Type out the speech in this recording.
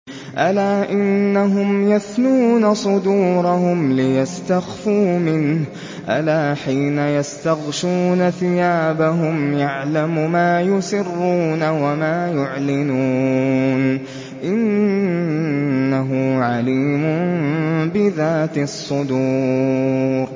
أَلَا إِنَّهُمْ يَثْنُونَ صُدُورَهُمْ لِيَسْتَخْفُوا مِنْهُ ۚ أَلَا حِينَ يَسْتَغْشُونَ ثِيَابَهُمْ يَعْلَمُ مَا يُسِرُّونَ وَمَا يُعْلِنُونَ ۚ إِنَّهُ عَلِيمٌ بِذَاتِ الصُّدُورِ